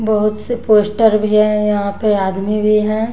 बहुत से पोस्टर भी है यहां पे आदमी भी है।